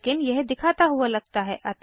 लेकिन यह दिखाता हुआ लगता है